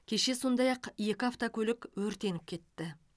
кеше сондай ақ екі автокөлік өртеніп кетті